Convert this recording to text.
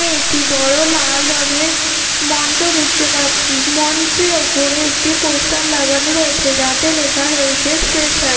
একটি বড়ো লাল রঙের মঞ্চ দেখতে পাচ্ছি। মঞ্চের ওপরে একটি পোস্টার লাগানো রয়েছে যাতে লেখা রয়েছে ফ্রেশার |